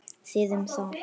Þið um það!